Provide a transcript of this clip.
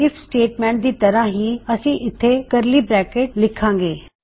IF statement ਦੀ ਤਰਹ ਹੀ ਅਸੀ ਇਥੇ ਕਰਲੀ ਬਰੈਕਿਟਸ ਲੀਖਾਂ ਗੇ